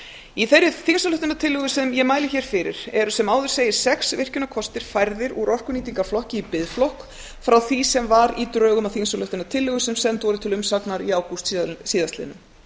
í þeirri þingsályktunartillögu sem ég mæli hér fyrir eru sem áður segir sex virkjunarkostir færðir úr orkunýtingarflokki í biðflokk frá því sem var í drögum að þingsályktunartillögu sem send voru til umsagnar í ágúst síðastliðinn